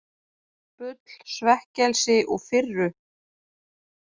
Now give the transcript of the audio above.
Bull, svekkelsi og firru?